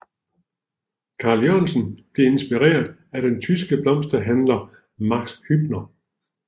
Carl Jørgensen blev inspireret af den tyske blomsterhandler Max Hübner